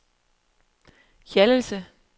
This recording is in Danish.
Hjallese